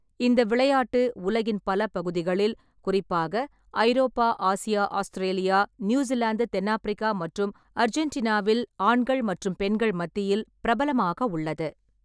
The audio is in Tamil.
இந்த விளையாட்டு உலகின் பல பகுதிகளில், குறிப்பாக ஐரோப்பா, ஆசியா, ஆஸ்திரேலியா, நியூசிலாந்து, தென்னாப்பிரிக்கா மற்றும் அர்ஜென்டினாவில் ஆண்கள் மற்றும் பெண்கள் மத்தியில் பிரபலமாக உள்ளது.